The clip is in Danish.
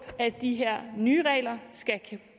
at de her nye regler skal